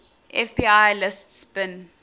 fbi lists bin